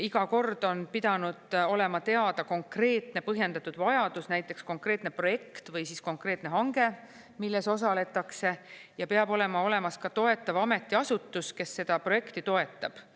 Iga kord on pidanud olema teada konkreetne põhjendatud vajadus, näiteks konkreetne projekt või konkreetne hange, milles osaletakse, ja peab olema olemas ka toetav ametiasutus, kes seda projekti toetab.